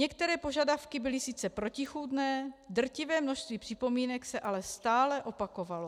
Některé požadavky byly sice protichůdné, drtivé množství připomínek se ale stále opakovalo.